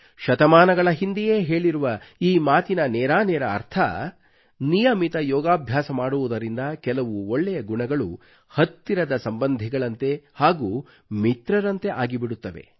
ಶತಮಾನಗಳ ಹಿಂದೆಯೇ ಹೇಳಿರುವ ಈ ಮಾತಿನ ನೇರಾನೇರ ಅರ್ಥ ನಿಯಮಿತ ಯೋಗಾಭ್ಯಾಸ ಮಾಡುವುದರಿಂದ ಕೆಲವು ಒಳ್ಳೆಯ ಗುಣಗಳು ಹತ್ತಿರದ ಸಂಬಂಧಿಗಳಂತೆ ಹಾಗೂ ಮಿತ್ರರಂತೆ ಆಗಿಬಿಡುತ್ತವೆ